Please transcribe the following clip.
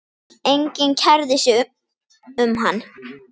Enginn kærði sig um hann.